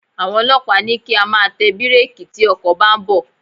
Àwọn ọlọ́pàá ní kí á máa tẹ bírékì tí ọkọ̀ bá ń bọ̀.